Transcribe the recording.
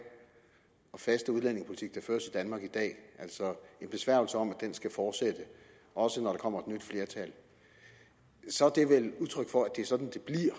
og faste udlændingepolitik der føres i danmark i dag altså en besværgelse om at den skal fortsættes også når der kommer nyt flertal så er det vel udtryk for at det er sådan